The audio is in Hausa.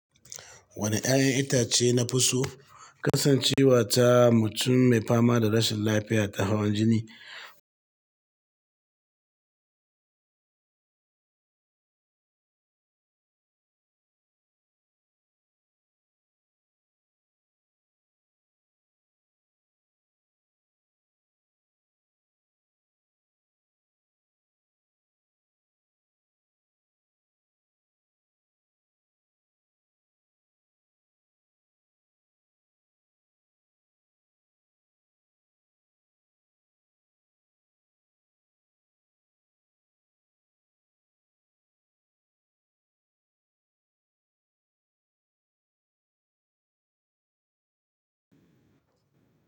Wane 'ya'yan itace na fi so? Kasancewa ta mutum mai fama da rashin lafiya ta hawan jini.